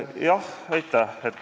Aitäh!